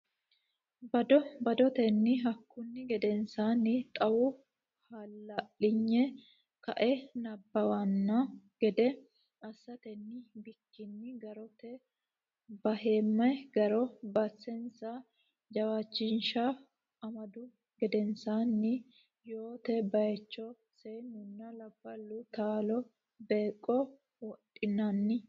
bado badotenni Hakkunni gedensaanni xawu hala linyi ka e nabbabbanno gede assatenni bikkinni garote beehamme garo basensa jawaachishinsa amaddu gedensaanni yoote baycho Seennunna labballu taallo beeqqo wodhinanni.